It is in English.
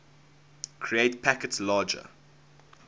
create packets larger